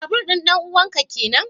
Babur din danuwan ka kenan?